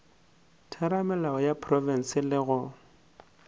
theramelao ya profense le go